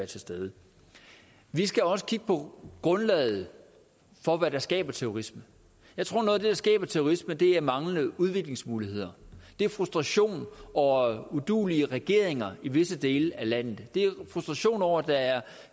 til stede vi skal også kigge på grundlaget for hvad der skaber terrorisme jeg tror at det der skaber terrorisme er manglende udviklingsmuligheder det er frustration over uduelige regeringer i visse dele af verden det er frustration over at der er